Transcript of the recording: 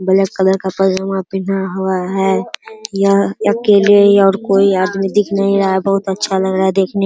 black colour का पैजामा पेन्हा हुआ है | यह अकेले और कोई आदमी दिख नहीं रहा है बहुत अच्छा लग रहा है देखने --